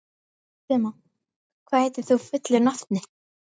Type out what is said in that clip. Maxima, hvað heitir þú fullu nafni?